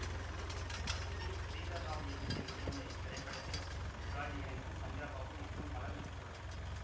B Sridhar Rao இயக்கத்தில் வெளிவந்த இத்திரைப்படத்தில் சிவாஜி கணேசன் சந்திரபாபு மற்றும் பலர் நடித்துள்ளனர்